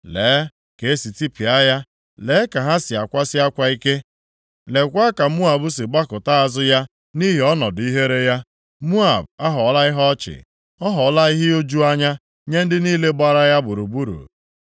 “Lee ka e si tipịa ya! Lee ka ha si akwasị akwa ike! Leekwa ka Moab si gbakụta azụ ya nʼihi ọnọdụ ihere ya! Moab aghọọla ihe ọchị, ọ ghọọla ihe iju anya nye ndị niile gbara ya gburugburu.”